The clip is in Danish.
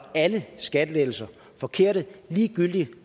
alle skattelettelser forkerte ligegyldigt